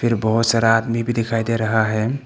फिर बहुत सारा आदमी भी दिखाई दे रहा है।